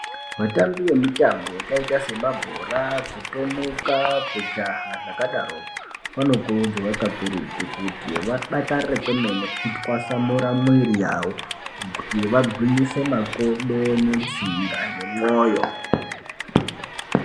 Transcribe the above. Vatambi vemitambo yakaita semabhora, kutomuka kujaha zvakadaroko vanokurudzirwa kakurutu kuti vadakarire kwemene vatwasamura mwiri yavo, kuti vangwinyise makodo, netsinga ,nemwoyo.